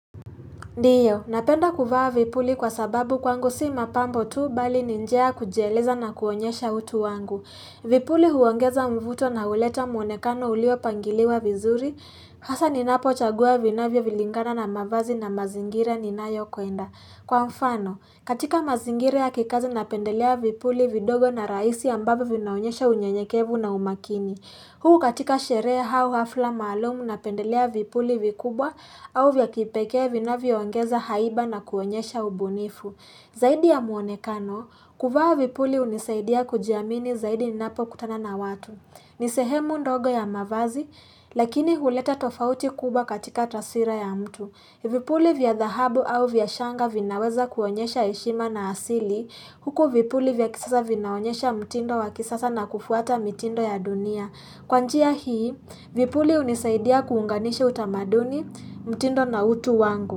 Ndiyo, napenda kuvaa vipuli kwa sababu kwangu si mapambo tu, bali ni njia ya kujieleza na kuonyesha utu wangu. Vipuli huongeza mvuto na huleta muonekano uliopangiliwa vizuri, hasa ninapochagua vinavyovilingana na mavazi na mazingira ninayokwenda. Kwa mfano, katika mazingira ya kikazi napendelea vipuli vidogo na raisi ambavyo vinaonyesha unyenyekevu na umakini. Huu katika sheree hau hafla maalumu napendelea vipuli vikubwa au vya kipekee vinavyoongeza haiba na kuonyesha ubunifu. Zaidi ya muonekano, kuvaa vipuli hunisaidia kujiamini zaidi ninapokutana na watu. Ni sehemu ndogo ya mavazi, lakini huleta tofauti kubwa katika taswira ya mtu. Vipuli vya dhahabu au vya shanga vinaweza kuonyesha heshima na asili. Huku vipuli vya kisasa vinaonyesha mtindo wa kisasa na kufuata mitindo ya dunia. Kwa njia hii, vipuli hunisaidia kuunganisha utamaduni mtindo na utu wangu.